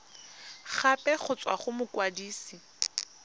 gape go tswa go mokwadise